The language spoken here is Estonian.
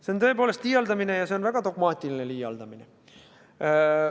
See on tõepoolest liialdamine, ja see on väga dogmaatiline liialdamine.